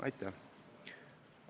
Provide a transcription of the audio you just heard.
Aitäh!